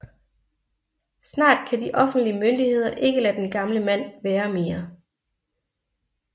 Snart kan de offentlige myndigheder ikke lade den gamle mand være mere